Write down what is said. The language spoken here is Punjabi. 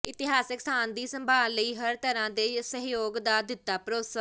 ਇਤਹਾਸਕ ਸਥਾਨ ਦੀ ਸੰਭਾਲ ਲਈ ਹਰ ਤਰਾਂ ਦੇ ਸਹਿਯੋਗ ਦਾ ਦਿੱਤਾ ਭਰੋਸਾ